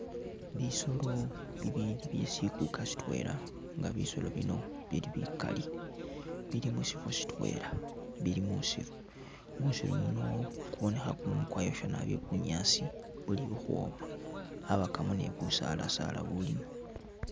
Bisoolo bibili byesikuka sitwela nga bisoolo bino bili bikali bili musifo sitwela bili musiru, musiru muno kubonekha kumumu kwayosha nabi bunyaasi buli ukhwoma, abakamo ni busaala'saala bulimo